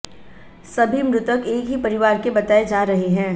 सभी मृतक एक ही परिवार के बताए जा रहे हैं